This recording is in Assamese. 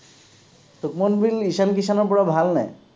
সুভম গিল ঈশান কিশ্য়ানৰ পৰা ভালনে?